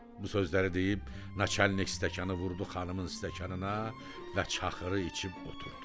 Bu sözləri deyib naçalnik stəkanı vurdu xanımın stəkanına və çaxırı içib oturdu.